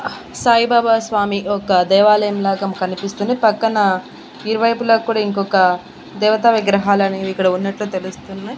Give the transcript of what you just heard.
సాయిబాబా స్వామి ఒక దేవాలయం లాగం కనిపిస్తుంది పక్కన ఇరువైపులా కూడా ఇంకొక దేవతా విగ్రహాలు అనేవి ఇక్కడ ఉన్నట్లు తెలుస్తున్నయ్.